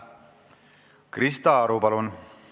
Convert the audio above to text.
Krista Aru, palun!